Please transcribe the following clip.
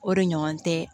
O de ɲɔgɔn tɛ